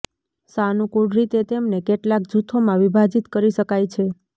સાનુકૂળ રીતે તેમને કેટલાક જૂથોમાં વિભાજિત કરી શકાય છે